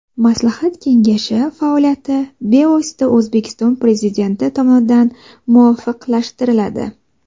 Maslahat kengashi faoliyati bevosita O‘zbekiston Prezidenti tomonidan muvofiqlashtiriladi.